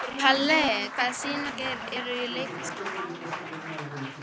Palli, hvaða sýningar eru í leikhúsinu á mánudaginn?